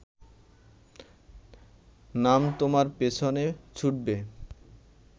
নাম তোমার পেছনে ছুটবে